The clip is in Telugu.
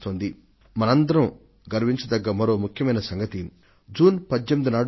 ప్రియ మైన నా దేశ వాసులారా మనందరం గర్వించవలసిన మరో ముఖ్యమైన కార్యక్రమం మరొకటి జరిగింది